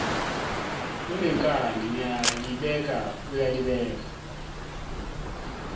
unenkani ngiyalibeka uyalibeka